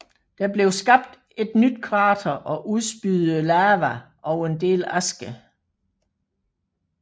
Der blev skabt et nyt krater og udspyet lava og en del aske